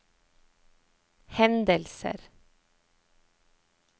hendelser